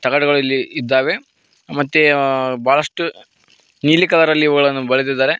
ತಗಡುಗಳು ಇಲ್ಲಿ ಇದ್ದಾವೆ ಮತ್ತೆ ಆ ಬಹಳಷ್ಟು ನೀಲಿ ಕಲರ್ ಅಲ್ಲಿ ಇವುಗಳನ್ನು ಬಳೆದಿದ್ದಾರೆ.